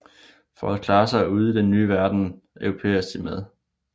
For at klare sig i den nye verden europæiseres de